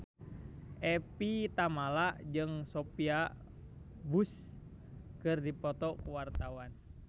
Evie Tamala jeung Sophia Bush keur dipoto ku wartawan